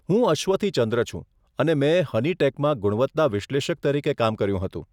હું અશ્વથી ચંદ્ર છું અને મેં હનીટેકમાં ગુણવત્તા વિશ્લેષક તરીકે કામ કર્યું હતું.